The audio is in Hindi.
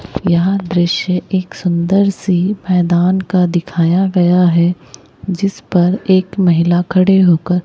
यह दृश्य एक सुंदर सी मैदान का दिखाया गया है जिस पर एक महिला खड़े होकर--